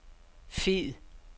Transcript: fed